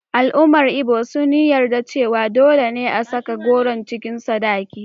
Al’ummar Ibo sun yi yarda cewa dole ne a saka goro cikin sadaki.